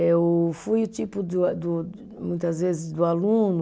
Eu fui o tipo do a do, muitas vezes, do aluno